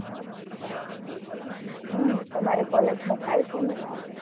હમ તમારી college માં થાય seminar